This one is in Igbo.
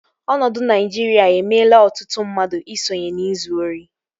Ọnọdụ Naijiria emela ọtụtụ mmadụ i sonye n'izu ori